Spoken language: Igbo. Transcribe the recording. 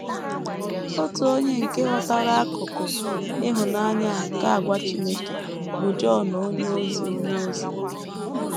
Otu onye nke ghọtara akụkụ ịhụnanya a nke àgwà Chineke bụ Jọn onyeozi onyeozi.